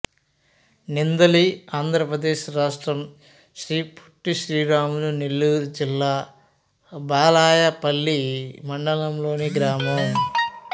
నిందలి ఆంధ్ర ప్రదేశ్ రాష్ట్రం శ్రీ పొట్టి శ్రీరాములు నెల్లూరు జిల్లా బాలాయపల్లి మండలంలోని గ్రామం